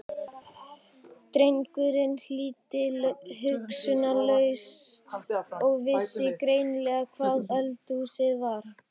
Drengurinn hlýddi hugsunarlaust og vissi greinilega hvar eldhúsið var.